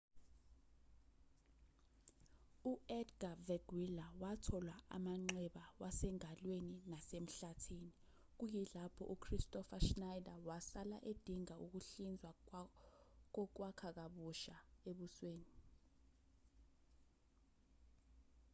u-edga veguilla wathola amanxeba wasengalweni nasemhlathini kuyilapho u-kristoffer schneider wasala edinga ukuhlizwa kokwakha kabusha ebusweni